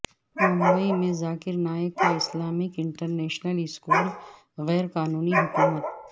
ممبئی میں ذاکر نائیک کا Islamic International School غیر قانونی حکومت